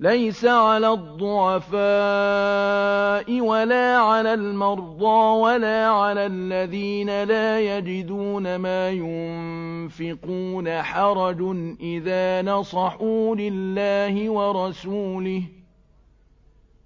لَّيْسَ عَلَى الضُّعَفَاءِ وَلَا عَلَى الْمَرْضَىٰ وَلَا عَلَى الَّذِينَ لَا يَجِدُونَ مَا يُنفِقُونَ حَرَجٌ إِذَا نَصَحُوا لِلَّهِ وَرَسُولِهِ ۚ